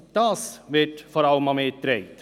Vor allem dies wird mir zugetragen.